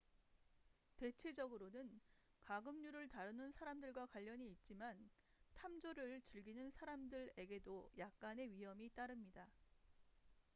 대체적으로는 가금류를 다루는 사람들과 관련이 있지만 탐조를 즐기는 사람들에게도 약간의 위험이 따릅니다